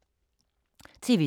TV 2